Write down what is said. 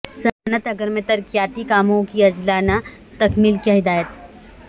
صنعت نگر میں ترقیاتی کاموں کی عاجلانہ تکمیل کی ہدایت